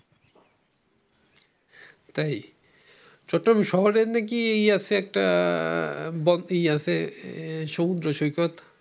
তাই ছোট্ট শহরে নাকি আছে নাকি একটা সমুদ্র সৈকত?